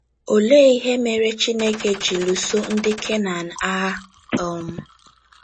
Olee Ihe Mere Chineke ji Lụsọ ndị Kenan Agha? um